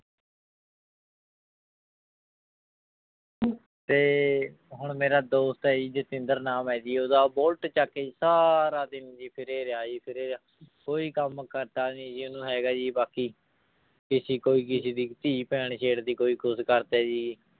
ਤੇ ਹੁਣ ਮੇਰਾ ਦੋਸਤ ਹੈ ਜੀ ਜਤਿੰਦਰ ਨਾਮ ਹੈ ਜੀ ਉਹਦਾ ਬੋਲਟ ਚੁੱਕ ਕੇ ਜੀ ਸਾਰਾ ਦਿਨ ਜੀ ਫਿਰੇ ਰਿਹਾ ਜੀ, ਫਿਰ ਰਿਹਾ ਕੋਈ ਕੰਮ ਧੰਦਾ ਨੀ ਜੀ ਉਹਨੂੰ ਹੈਗਾ ਜੀ ਬਾਕੀ, ਕਿਸੇ ਕੋਈ ਕਿਸੇ ਦੀ ਧੀ ਭੈਣ ਛੇੜ ਦਿੱਤੀ, ਕੋਈ ਕੁਛ ਕਰ ਦਿੱਤਾ ਜੀ।